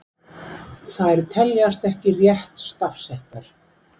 Þær teljast ekki rétt stafsettar.